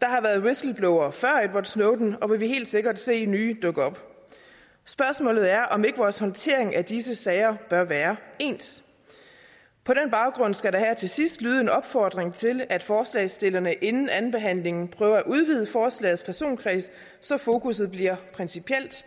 der har været whistleblowere før edward snowden og vi vil helt sikkert se nye dukke op spørgsmålet er om ikke vores håndtering af disse sager bør være ens på den baggrund skal der her til sidst lyde en opfordring til at forslagsstillerne inden andenbehandlingen prøver at udvide forslagets personkreds så fokusset bliver principielt